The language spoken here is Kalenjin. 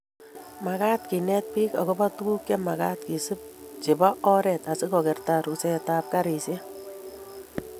magaat keneti biik agoba tuguk chemagat kesuup chebo oret asigogerta rusetab karishek